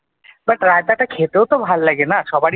but রায়তাটা খেতেও তো ভালো লাগে না সবারির ।